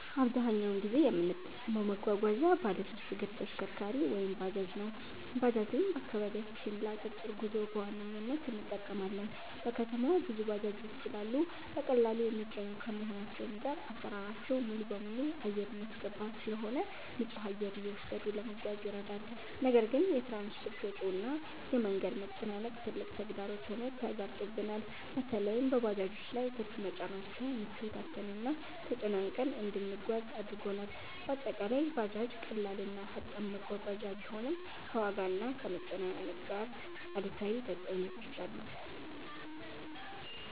አብዛኛውን ጊዜ የምጠቀመው መጓጓዣ ባለሶስት እግር ተሽከርካሪ(ባጃጅ) ነው። ባጃጅን በአከባቢያችን ለ አጫጭር ጉዞ በዋነኝነት እንጠቀማለን። በከተማው ብዙ ባጃጆች ስላሉ በቀላሉ የሚገኙ ከመሆናቸውም ጋር አሰራራቸው ሙሉበሙሉ አየር የሚያስገባ ስለሆነ ንፁህ አየር እየወሰዱ ለመጓዝ ይረዳል። ነገር ግን የ ትራንስፖርት ወጪው እና የ መንገድ መጨናነቅ ትልቅ ተግዳሮት ሆኖ ተጋርጦብናል። በለይም በባጃጆች ላይ ትርፍ መጫናቸው ምቾት አጥተንና ተጨናንቀን እንድንጓጓዝ አድርጎናል። በአጠቃላይ ባጃጅ ቀላል እና ፈጣን መጓጓዣ ቢሆንም፣ ከዋጋና ከመጨናነቅ ጋር አሉታዊ ተፅዕኖዎች አሉት።